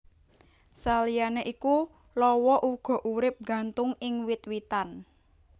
Saliyané iku lawa uga urip nggantung ing wit witan